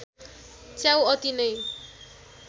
च्याउ अति नै